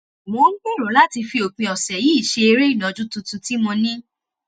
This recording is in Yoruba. mo ń gbèrò láti fi òpin ọ̀sẹ̀ yìí ṣe eré ìnàjú tuntun tí mo ní